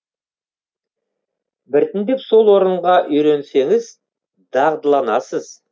біртіндеп сол орынға үйренсеңіз дағдыланасыз